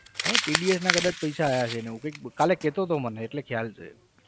હે TDS ના કદાચ પૈસા આવ્યા છે એને એવું કંઈક કાલે કહેતો હતો મને એટલે ખ્યાલ છે.